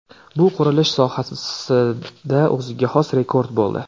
Bu qurilish sohasida o‘ziga xos rekord bo‘ldi.